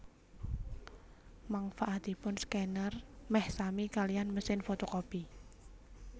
Mangfaatipun skèner meh sami kaliyan mesin fotokopi